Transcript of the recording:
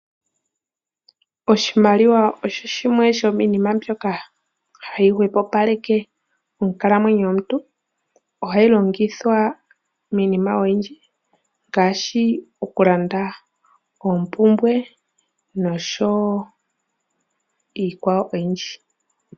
Oshimaliwa osho shimwe sho miinima ndyoka hayi hwepo paleke onkalamwenyo yomuntu. Ohayi longithwa miinima oyindji ngaashi okulanda oompumbwe noshowo iikwawo oyindji.